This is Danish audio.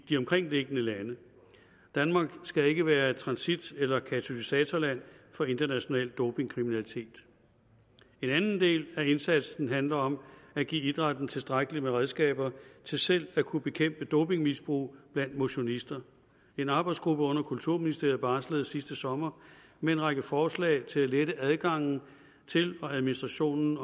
de omkringliggende lande danmark skal ikke være transitland eller katalysatorland for international dopingkriminalitet en anden del af indsatsen handler om at give idrætten tilstrækkelige redskaber til selv at kunne bekæmpe dopingmisbrug blandt motionister en arbejdsgruppe under kulturministeriet barslede sidste sommer med en række forslag til at lette adgangen til og administrationen